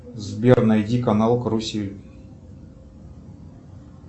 сбер найди канал карусель